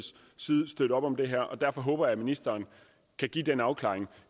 støtte op om det her og derfor håber jeg at ministeren kan give den afklaring